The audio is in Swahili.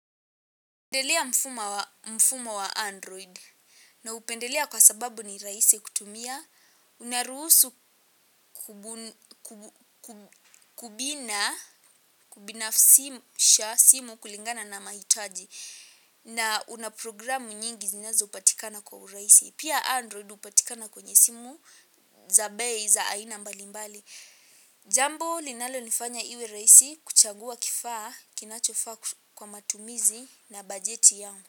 Naupendelea mfumo wa Android naupendelea kwa sababu ni rahisi kutumia, unaruhusu kubun Kubina Kubinafsisha simu kulingana na mahitaji na una programu nyingi zinazopatikana kwa urahisi. Pia Android hupatikana kwenye simu za bei za aina mbalimbali. Jambo linalonifanya iwe raisi kuchagua kifaa kinachofaa kwa matumizi na bajeti yangu.